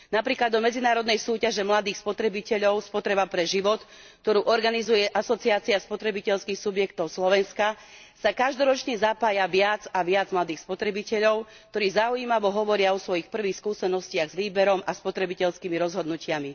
Napríklad do medzinárodnej súťaže mladých spotrebiteľov Spotreba pre život, ktorú organizuje Asociácia spotrebiteľských subjektov Slovenska, sa každoročne zapája viac a viac mladých spotrebiteľov, ktorí zaujímavo hovoria o svojich prvých skúsenostiach s výberom a spotrebiteľskými rozhodnutiami